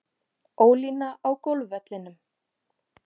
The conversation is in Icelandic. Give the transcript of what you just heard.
Ólína á golfvellinum.